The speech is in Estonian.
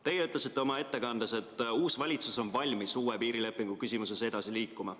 Teie ütlesite oma ettekandes, et uus valitsus on valmis uue piirilepingu küsimuses edasi liikuma.